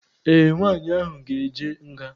Ee, nwaanyị ahụ ga-eje nga.